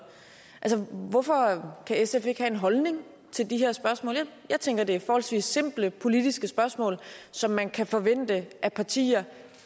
altså hvorfor kan sf ikke have en holdning til de her spørgsmål jeg tænker at det er forholdsvis simple politiske spørgsmål som man kan forvente at partier